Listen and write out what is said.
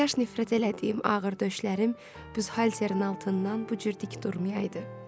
Kaş nifrət elədiyim ağır döşlərim büzhalterin altından bu cür dik durmayaydı.